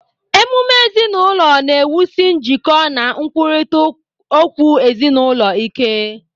Ememe ezinụlọ na-ewusi njikọ na nkwurịta okwu ezinụlọ ike.